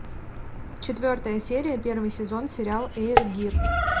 четвертая серия первый сезон сериал эйр гир